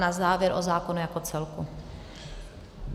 Na závěr o zákonu jako celku.